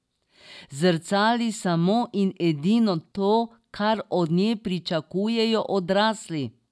Zrcali samo in edino to, kar od nje pričakujejo odrasli.